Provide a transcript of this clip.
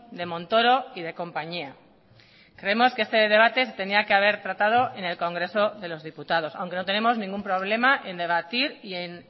de montoro y de compañía creemos que este debate se tenía que haber tratado en el congreso de los diputados aunque no tenemos ningún problema en debatir y en